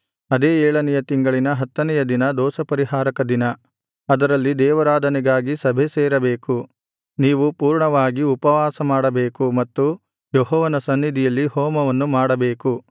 ಅದೇ ಏಳನೆಯ ತಿಂಗಳಿನ ಹತ್ತನೆಯ ದಿನ ದೋಷಪರಿಹಾರಕ ದಿನ ಅದರಲ್ಲಿ ದೇವಾರಾಧನೆಗಾಗಿ ಸಭೆಸೇರಬೇಕು ನೀವು ಪೂರ್ಣವಾಗಿ ಉಪವಾಸಮಾಡಬೇಕು ಮತ್ತು ಯೆಹೋವನ ಸನ್ನಿಧಿಯಲ್ಲಿ ಹೋಮವನ್ನು ಮಾಡಬೇಕು